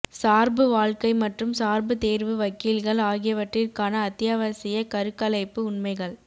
சார்பு வாழ்க்கை மற்றும் சார்பு தேர்வு வக்கீல்கள் ஆகியவற்றிற்கான அத்தியாவசிய கருக்கலைப்பு உண்மைகள்